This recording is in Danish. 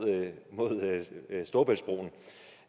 storebæltsbroen